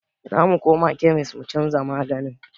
Zamu koma kemis mu canza maganin